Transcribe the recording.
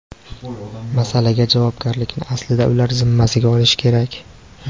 Masalaga javobgarlikni aslida ular zimmasiga olishi kerak.